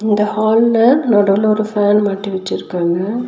இந்த ஹால்ல நடுவுல ஒரு ஃபேன் மாட்டி வெச்சிருக்காங்க.